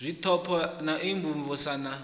zwipotso na u imvumvusa na